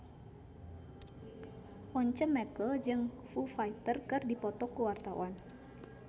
Once Mekel jeung Foo Fighter keur dipoto ku wartawan